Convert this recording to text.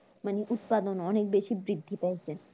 মানে উৎপাদন অনেক বেশি বৃদ্ধি পেয়েছে